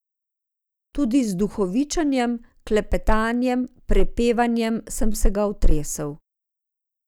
Tudi z duhovičenjem, klepetanjem, prepevanjem sem se ga otresel.